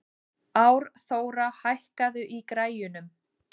Árþóra, hækkaðu í græjunum.